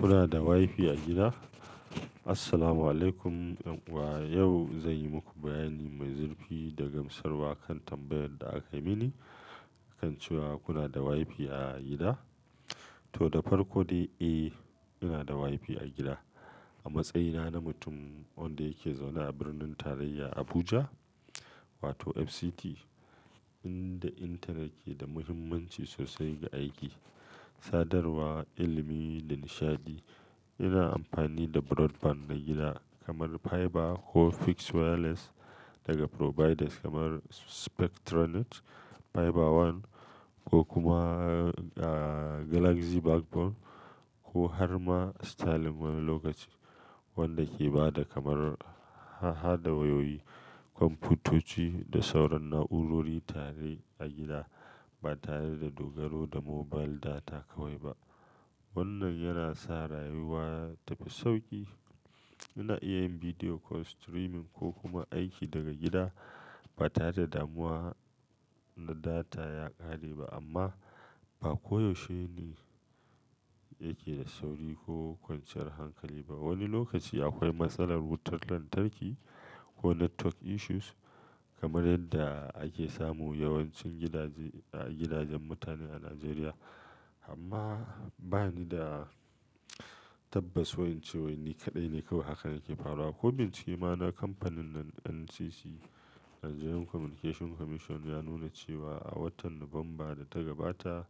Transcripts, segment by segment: Kuna da WiFi a gida? Assalamualaikum. An uwa yau zan yi muku bayani mai zurfi da gamsarwa kan tambayar da aka yi mini kan cewa kuna da WiFi a gida. To, da farko dai, eh, ina da WiFi a gida. A matsayina na mutum wanda yake zaune a Birnin Tarayya Abuja, wato FCT, inda intanet ke da muhimmanci sosai ga aiki, sadarwa, ilimi da nishaɗi. Ina amfani da broadband na gida kamar fiber ko fixed wireless daga providers kamar Spectranet, FiberOne ko kuma, ah, Galaxy Backbone ko har ma Starlink wani lokaci. Wanda ke ba da kamar hada wayoyi, kwamfutoci da sauran na'urori tare a gida ba tare da dogaro da mobile data kawai ba. Wannan yana sa rayuwa ta fi sauƙi. Ina iya yin video call, streaming ko kuma aiki daga gida ba tare da damuwa na data ya ƙare ba. Amma ba koyaushe ne yake da sauri ko kwanciyar hankali ba. Wani lokaci akwai matsalar wutar lantarki ko network issues kamar yadda ake samu yawancin gidaje, gidajen mutane a Najeriya. Amma ba ni da tabbas wai in cewai ni kaɗai ne kawai hakan yake faruwa. Ko bincike, na kamfanin nan NCC, Nigerian Communication Commission ya nuna cewa a watan Nuwamba da ta gabata,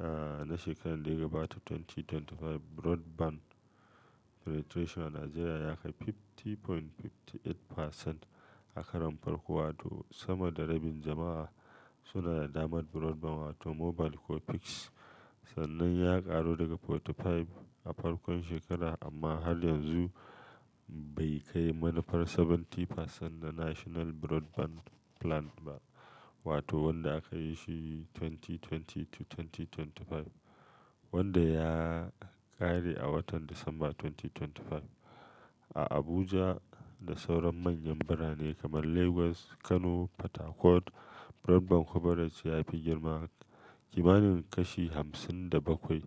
ah, na shekarar da ya gabata dubu biyu da ashirin da biyar, broadband penetration a Najeriya ya kai kashi hamsin da digo biyar da takwas a karam farko. Wato sama da rabin jama'a suna da damar broadband wato mobile ko fixed. Sannan ya ƙaru daga arba'in da biyar a farkon shekara amma har yanzu bai kai manufar kashi saba'in na National Broadband Plan ba. Wato wanda aka yi shi dubu biyu da ashirin to dubu biyu da ashirin da biyar wanda ya ƙare a watan Disamba dubu biyu da ashirin da biyar. A Abuja da sauran manyan birane kamar Lagos, Kano, Port Harcourt, broadband coverage ya fi girma. Kimanin kashi hamsin da bakwai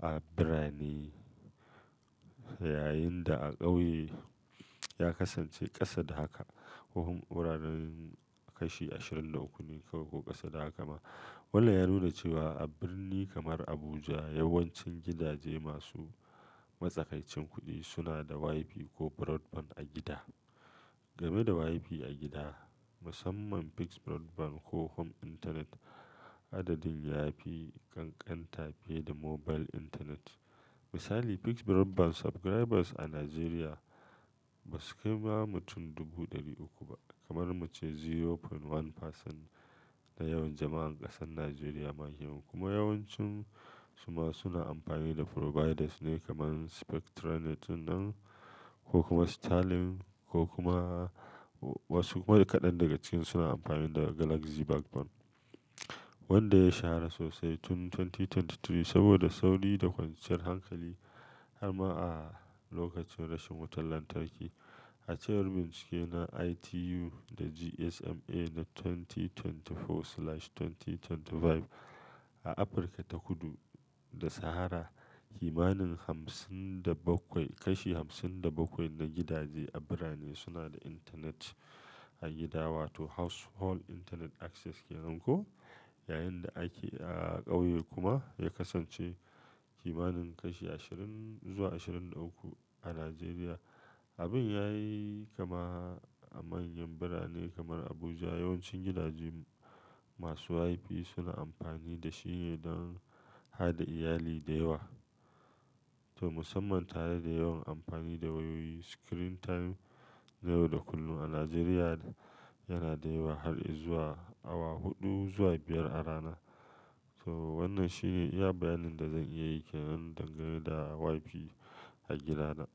a birane yayinda a ƙauye ya kasance ƙasa da haka. Huhun wuraren kashi ashirin da uku ne kawai ko ƙasa da haka ma. Wannan ya nuna cewa a birni kamar Abuja, yawancin gidaje masu matsakaicin kuɗi suna da WiFi ko broadband a gida. Game da WiFi a gida, musamman fixed broadband ko home internet, adadin ya fi ƙanƙanta fiye da mobile internet. Misali, fixed broadband subscribers a Najeriya ba su kai ma mutum dubu ɗari uku ba. Kamar muce kashi sifiri digo ɗaya na yawan jama'an ƙasar Najeriya ma hi. Kuma yawancin su ma suna amfani da providers ne kamar Spectranet ɗinnan ko kuma Starlink ko kuma wasu kuma kaɗan daga cikin su na amfani da Galaxy Backbone wanda ya shahara sosai tun dubu biyu da ashirin da uku saboda sauri da kwanciyar hankali har ma a lokacin rashin wutar lantarki. A cewar bincike na ITU da GSMA na dubu biyu da ashirin da huɗu zuwa dubu biyu da ashirin da biyar a Afirka ta Kudu da Sahara, kimanin hamsin da bakwai, kashi hamsin da bakwai na gidaje a birane suna da intanet a gida wato household internet access ke nanko. Yayinda ake a ƙauye kuma ya kasance kimanin kashi ashirin zuwa ashirin da uku a Najeriya. Abin yayi kama a manyan birane kamar Abuja. Yawancin gidaje masu WiFi suna amfani da shi ne don hada iyali da yawa. To musamman tare da yawan amfani da wayoyi. Screen time na yau da kullum a Najeriya yana da yawa har izuwa awa huɗu zuwa biyar a rana. To wannan shine iya bayanin da zan iya yi ke dangane da WiFi a gidana.